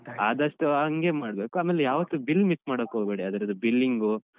ಆದಷ್ಟು ಹಂಗೆ ಮಾಡ್ಬೇಕು ಆಮೇಲೆ ಯಾವತ್ತು bill miss ಮಾಡೋಕೋಗ್ಬೇಡಿ ಅದ್ರದ್ದು billing.